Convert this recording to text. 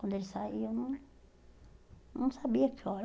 Quando ele saiu, eu não não sabia que hora.